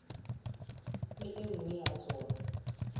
le e nngwe ya tsona